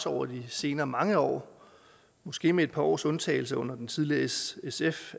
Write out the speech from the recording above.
over de senere mange år måske med et par års undtagelse af under den tidligere srsf